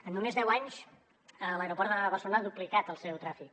en només deu anys l’aeroport de barcelona ha duplicat el seu trànsit